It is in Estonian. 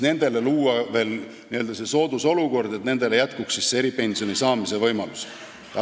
Luuakse see soodusolukord, et neil oleks eripensioni saamise võimalus.